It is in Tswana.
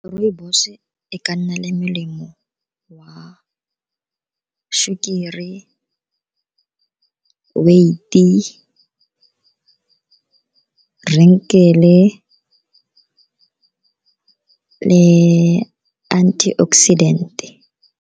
Rooibos-e e ka nna le melemo wa sukiri, weight-e, wrinkle-e le antioxidant.